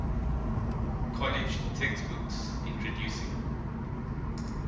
college textbooks introducing